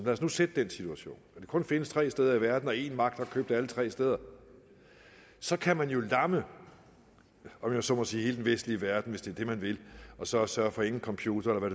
os nu sætte den situation at det kun findes tre steder i verden og én magt har købt alle tre steder så kan man jo lamme om jeg så må sige hele den vestlige verden hvis det er det man vil og så sørge for at ingen computere eller